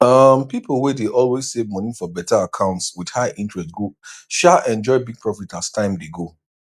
um pipo wey dey always save money for better accounts with high interest go um enjoy big profit as time dey go